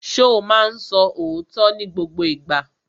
Ṣo ma ń sọ òótọ́ ní gbogbo ìgbà?